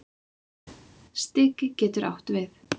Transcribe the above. Stiki getur átt við